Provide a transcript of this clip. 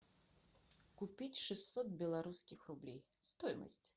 купить шестьсот белорусских рублей стоимость